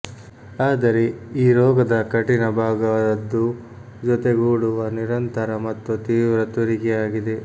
ಆದರೆ ಈ ರೋಗದ ಕಠಿಣ ಭಾಗ ದದ್ದು ಜೊತೆಗೂಡುವ ನಿರಂತರ ಮತ್ತು ತೀವ್ರ ತುರಿಕೆ ಆಗಿದೆ